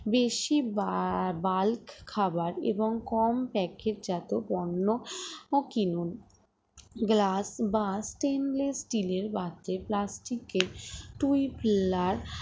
দেশি বা bulk খাবার এবং কম packet জাত পণ্য কিনুন glass বা stainless steel এর পাত্রে plastic এর tupler